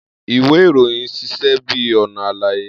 Iwe iroyin ṣiṣẹ bi ọna álàyé.